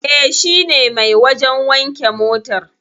E, shine mai wajen wanke motar.